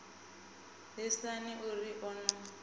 lisani o ri o no